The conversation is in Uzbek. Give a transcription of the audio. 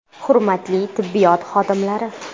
Hurmatli tibbiyot xodimlari!